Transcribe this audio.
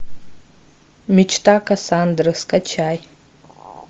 мечта кассандры скачай